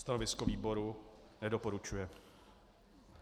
Stanovisko výboru: Nedoporučuje.